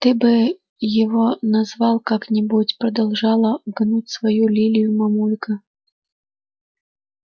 ты бы его назвал как-нибудь продолжала гнуть свою лилию мамулька